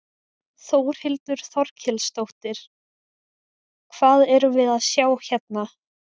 Þórhildur Þorkelsdóttir: Hvað erum við að sjá hérna?